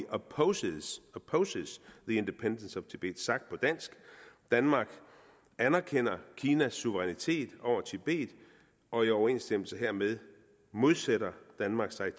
opposes the independence of tibet sagt på dansk danmark anerkender kinas suverænitet over tibet og i overensstemmelse hermed modsætter danmark sig